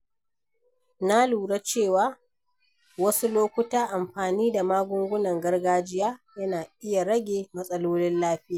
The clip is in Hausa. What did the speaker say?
Na lura cewa a wasu lokuta, amfani da magungunan gargajiya yana iya rage matsalolin lafiya.